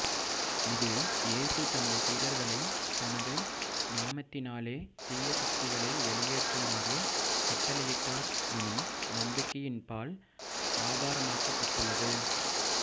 இது இயேசு தனது சீடர்களை தனது நாமத்தினாலே தீய சக்திகளை வெளியேற்றுமாறு கட்டளையிட்டார் எனும் நம்பிக்கையின்பால் ஆதாரமாக்கப்பட்டுள்ளது